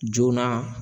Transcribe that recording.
Joona